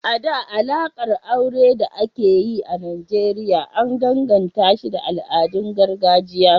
A da, alaƙar aure da ake yi a Nijeriya an danganashi da al’adun gargajiya.